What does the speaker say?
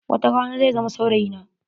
Watarana zai zama saurayi na.